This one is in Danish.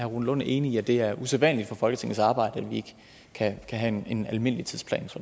rune lund enig i at det er usædvanligt for folketingets arbejde at vi ikke kan have en almindelig tidsplan